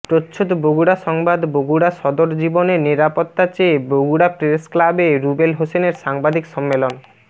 প্রচ্ছদ বগুড়া সংবাদ বগুড়া সদর জীবনের নিরাপত্তা চেয়ে বগুড়া প্রেসক্লাবে রুবেল হোসেনের সাংবাদিক সম্মেলন